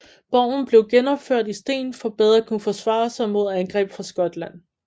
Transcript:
Borgen blev genopført i sten for bedre at kunne forsvare sig mod angreb fra Skotland